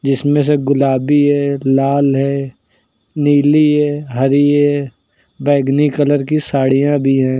जिसमें से गुलाबी ऐ लाल है नीली है हरी है। बैंगनी कलर की साड़ियाँ भी हैं।